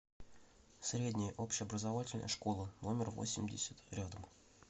средняя общеобразовательная школа номер восемьдесят рядом